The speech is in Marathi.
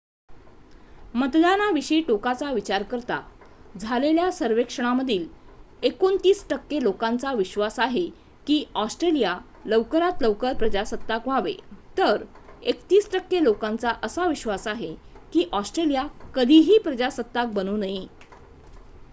मतदानाविषयी टोकाचा विचार करता झालेल्या सर्वेक्षणामधील 29 टक्के लोकांचा विश्वास आहे की ऑस्ट्रेलिया लवकरात लवकर प्रजासत्ताक व्हावे तर 31 टक्के लोकांचा असा विश्वास आहे की ऑस्ट्रेलिया कधीही प्रजासत्ताक बनू नये